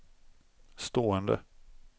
stående